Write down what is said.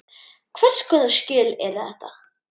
Hvers konar skjöl eru þetta?